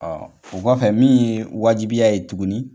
Ɔɔ o kɔfɛ min ye wajibiya ye tuguni